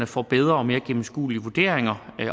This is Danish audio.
får bedre og mere gennemskuelige vurderinger